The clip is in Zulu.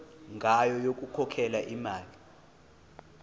ngayo yokukhokhela imali